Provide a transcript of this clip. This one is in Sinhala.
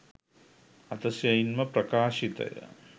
අතිශයින්ම ප්‍රකාශිතය